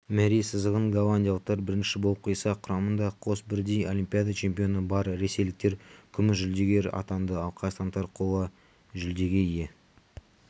мәре сызығын голландиялықтар бірінші болып қиса құрамында қос бірдей олимпиада чемпионы бар ресейліктер күміс жүлдегер атанды ал қазақстандықтар қола жүлдеге ие